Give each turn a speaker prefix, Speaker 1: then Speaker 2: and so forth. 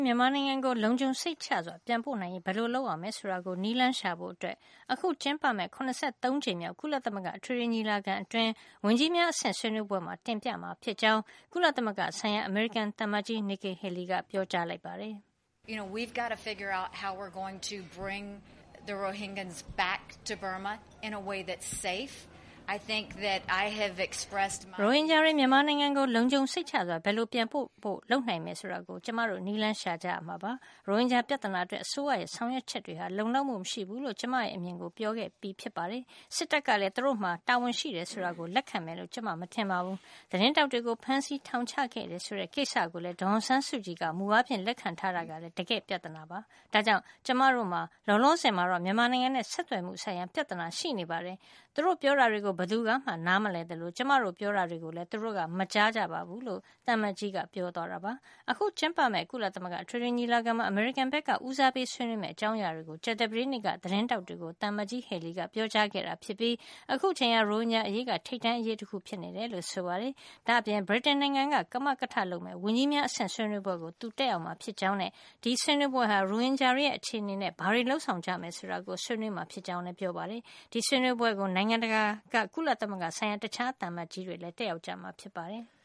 Speaker 1: မြန်မာနိုင်ငံကို လုံခြုံစိတ်ချစွာပြန်ပို့နိုင်ရေး ဘယ်လိုလုပ်ရမယ်ဆိုတာကို နည်းလမ်းရှာဖို့ အခုကျင်းပမယ့် ၇၃ ကြိမ်မြောက် ကုလသမဂ္ဂ အထွေထွေညီလာခံအတွင်း ဝန်ကြီးများအဆင့်ဆွေးနွေးပွဲမှာ တင်ပြမှာ ဖြစ်ကြောင်း ကုလသမဂ္ဂဆိုင်ရာ အမေရိကန် သံအမတ်ကြီး Nikki Haley က ပြောကြားလိုက်ပါတ
Speaker 2: ယ်။ “ရိုဟင်ဂျာတွေ မြ
Speaker 1: န်မာနိုင်ငံကို လုံခြုံစိတ်ချစွာ ဘယ်လို ပြန်ပို့နိုင်ဖို့ လုပ်နိုင်မလဲ ဆိုတာကို ကျမတို့နည်းလမ်းရှာ ကြရမှာပါ။ ရိုဟင်ဂျာ ပြဿနာအတွက် အစိုးရရဲ့ ဆောင်ရွက်ချက်တွေဟာ လုံလောက်မှုမရှိဘူးလို့ ကျမရဲ့ အမြင်ကို ပြောခဲ့ပြီးဖြစ်ပါတယ်။ စစ်တပ်ကလည်း သူတို့မှာ တာဝန်ရှိတယ်ဆိုတာကို လက်ခံမယ်လို့ ကျမ မထင်ပါဘူး။ သတင်းထောက်တွေကို ဖမ်းဆီး ထောင်ချခဲ့တယ်ဆိုတဲ့ ကိစ္စကိုလည်း ဒေါ်အောင်ဆန်းစုကြည်က မူအားဖြင့် လက်ခံထားတာကလည်း တကယ့်ပြဿနာပါ။ ဒါ့ကြောင့် ကျမတို့မှာ လောလောဆယ်မှာတော့ မြန်မာနိုင်ငံနဲ့ ဆက်သွယ်မှုဆိုင်ရာ ပြဿနာရှိနေပါတယ်။ သူတို့ပြောနေတာတွေကို ဘယ်သူကမှ နားမလည်သလို ကျမတို့ပြောနေတာတွေ ကိုလည်း သူတို့ မကြားကြပါဘူး။” အခုကျင်းပမယ့် ကုလအထွေထွေညီလာခံမှာ အမေရိကန်ဘက်က ဦးစားပေးဆွေးနွေးမယ့် အကြောင်းအရာတွေကို ကြာသပတေးနေ့က သတင်းထောက်တွေကို သံအမတ်ကြီး Haley က ပြောကြား ခဲ့တာဖြစ်ပြီး အခုအချိန်ဟာ ရိုဟင်ဂျာအရေးက ထိပ်တန်းအရေးတခု ဖြစ်နေတယ်လို့ ဆိုပါတယ်။ ဒါ့အပြင် ဗြိတိန်နိုင်ငံ ကမကထလုပ်မယ့် ဝန်ကြီးများအဆင့် ဆွေးနွေးပွဲကို သူတက်ရောက်မှာ ဖြစ်ကြောင်းနဲ့ ဒီဆွေးနွေးပွဲဟာ ရိုဟင်ဂျာတွေရဲ့ အခြေအနေနဲ့ ဘာတွေ လုပ်ဆောင်ကြမယ် ဆိုတာကို ဆွေးနွေးမှာဖြစ်ကြောင်းလည်း ပြောပါတယ်။ ဒီဆွေးနွေးပွဲကို နိုင်ငံတကာက ကုလသမဂ္ဂ ဆိုင်ရာ တခြားသံအမတ်ကြီးတွေလည်း တက်ရောက်မှာ ဖြစ်ပါတယ်။